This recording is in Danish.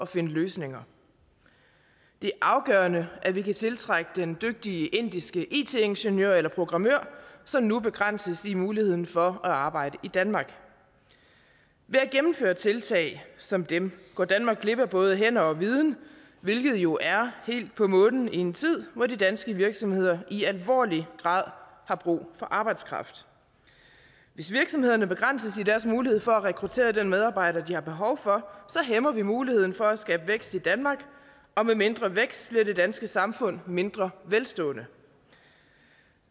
finde løsninger det er afgørende at vi kan tiltrække den dygtige indiske it ingeniør eller programmør som nu begrænses i muligheden for at arbejde i danmark ved at gennemføre tiltag som dem går danmark glip af både hænder og viden hvilket jo er helt på månen i en tid hvor de danske virksomheder i alvorlig grad har brug for arbejdskraft hvis virksomhederne begrænses i deres muligheder for at rekruttere den medarbejder de har behov for hæmmer vi muligheden for at skabe vækst i danmark og med mindre vækst bliver det danske samfund mindre velstående